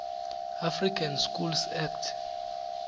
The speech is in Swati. african schools act